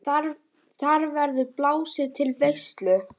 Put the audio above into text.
Þar verður blásið til veislu.